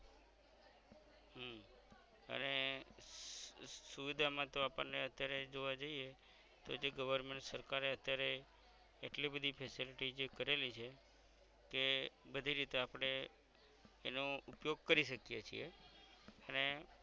સુવિધા મા તો આપણ ને અત્યારે જોવા જઇયે તો જે government સરકાર એ અત્યારે એટલી બધી facility જે કરેલી છે કે બધી રીતે આપણે એનો ઉપયોગ કરી શકીએ છીયે અને